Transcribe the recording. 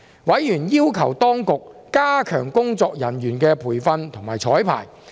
委員要求當局加強工作人員的培訓及綵排。